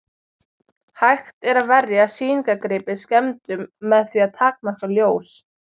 Hægt er að verja sýningargripi skemmdum með því að takmarka ljós.